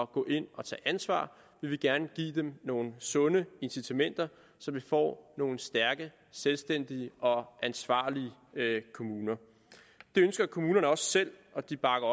gå ind og tage ansvar vi vil gerne give dem nogle sunde incitamenter så vi får nogle stærke selvstændige og ansvarlige kommuner det ønsker kommunerne også selv og de bakker